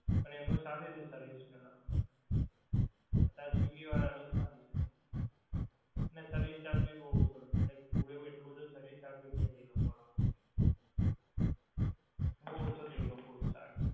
પણ એમનો સારી હતી service પેહલા અત્યારે swiggy ની એ સારી છે ને service charge ભી બહું ઓછો રાખ્યો કંઈક હોવે એટલું બધું service charge ભી નહીં એ લોકો નો બહું ઓછો થી ગયો food charge